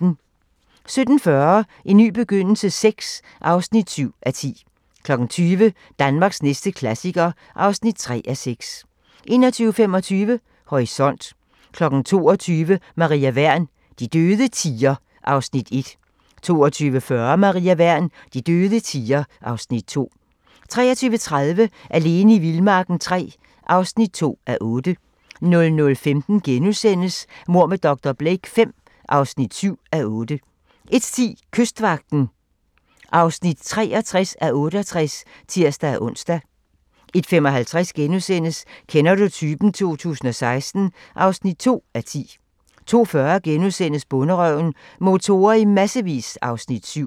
17:40: En ny begyndelse VI (7:10) 20:00: Danmarks næste klassiker (3:6) 21:25: Horisont 22:00: Maria Wern: De døde tier (Afs. 1) 22:40: Maria Wern: De døde tier (Afs. 2) 23:30: Alene i vildmarken III (2:8) 00:15: Mord med dr. Blake V (7:8)* 01:10: Kystvagten (63:68)(tir-ons) 01:55: Kender du typen? 2016 (2:10)* 02:40: Bonderøven: Motorer i massevis (Afs. 7)*